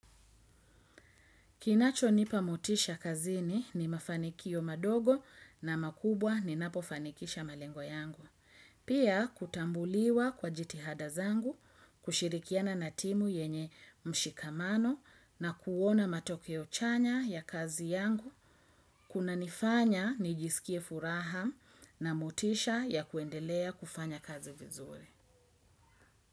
Kinachonipa motisha kazini ni mafanikio madogo na makubwa ninapofanikisha malengo yangu. Pia kutambuliwa kwa jitihada zangu, kushirikiana na timu yenye mshikamano na kuona matokeo chanya ya kazi yangu, kunanifanya nijisikie furaha na motisha ya kuendelea kufanya kazi vizuri.